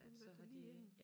Hun har været der lige inden